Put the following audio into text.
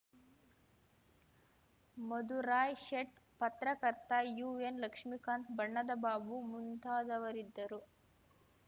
ಮಧುರಾಯ್‌ ಶೇಟ್‌ ಪತ್ರಕರ್ತ ಯುಎನ್‌ಲಕ್ಷ್ಮಿಕಾಂತ್‌ ಬಣ್ಣದ ಬಾಬು ಮುಂತಾದವರಿದ್ದರು